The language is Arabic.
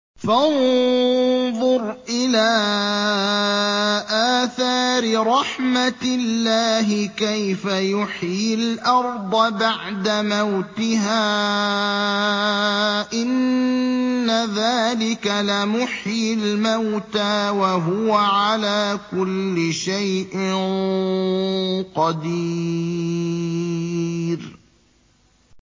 فَانظُرْ إِلَىٰ آثَارِ رَحْمَتِ اللَّهِ كَيْفَ يُحْيِي الْأَرْضَ بَعْدَ مَوْتِهَا ۚ إِنَّ ذَٰلِكَ لَمُحْيِي الْمَوْتَىٰ ۖ وَهُوَ عَلَىٰ كُلِّ شَيْءٍ قَدِيرٌ